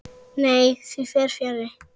Nei, því fer fjarri.